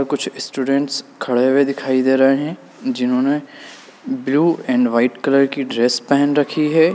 कुछ स्टूडेंट्स खड़े हुए दिखाई दे रहे हैं जिन्होंने ब्लू एंड व्हाइट कलर की ड्रेस पहन रखी है।